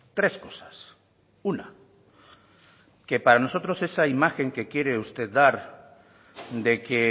tres cosas una que para nosotros esa imagen que quiere usted dar de que